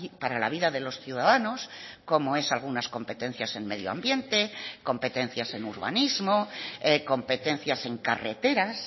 para la vida de los ciudadanos como es algunas competencias en medioambiente competencias en urbanismo competencias en carreteras